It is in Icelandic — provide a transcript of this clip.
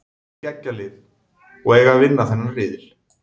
Þær eru með geggjað lið og eiga að vinna þennan riðil.